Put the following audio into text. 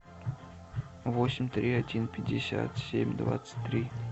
восемь три один пятьдесят семь двадцать три